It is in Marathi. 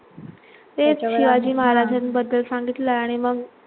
तेच शिवाजी महाराजांबद्दल सांगितलं आणि मग